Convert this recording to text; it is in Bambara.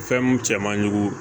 Fɛn mun cɛ man ɲugu